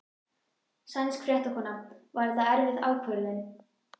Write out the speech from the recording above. Sænsk fréttakona: Var þetta erfið ákvörðun?